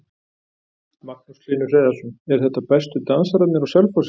Magnús Hlynur Hreiðarsson: Eru þetta bestu dansararnir á Selfossi?